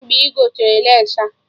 Kedụ mgbe ị gotere lace a?